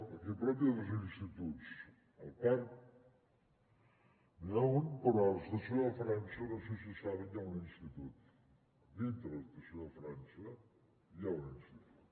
aquí a prop hi ha dos instituts al parc n’hi ha un però a l’estació de frança no sé si ho saben hi ha un institut dintre de l’estació de frança eh hi ha un institut